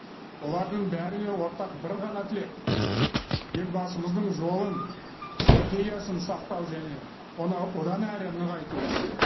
олардың бәріне ортақ бір ғана тілек елбасымыздың жолын стратегиясын сақтау және оны одан әрі нығайту